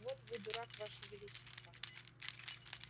так вот вы дурак ваше величество